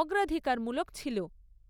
অগ্রাধিকারমূলক ছিল।